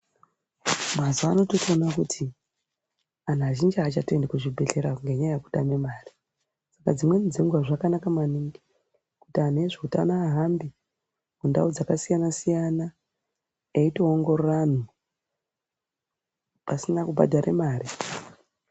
Mazuwano tirikuona kuti anhu azhinji achatoendi kuzvibhedhlera ngenyaya yekutame mare. Dzimwe dzenguwa zvakanaka maningi kuti anhu ezveutano ahambe kundau dzakasiyana-siyana eitoongorora anhu pasina kubhadhare mare.